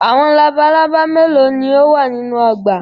Awọn labalaba melo ni o wa ninu ọgba?